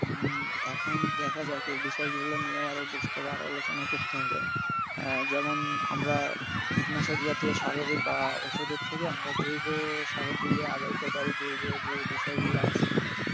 হম এখন দেখা যাক এই বিষয়গুলো নিয়েও আরও বসতে হবে আরও আলোচনা করতে হবে আহ যেমন আমরা কীটনাশক জাতীয় সারের বা ঔষধের থেকে আমরা জৈব সারের দিকে আগাইতে পারি জৈব যে বিষয়গুলো আছে,